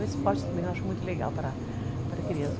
O esporte também eu acho muito legal para a criança.